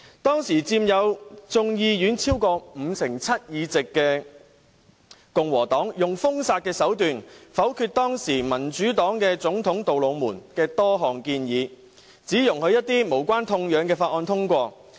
當時，佔眾議院超過五成七議席的共和黨用封殺手段，否決民主黨總統杜魯門的多項建議，只容許一些無關痛癢的法案通過。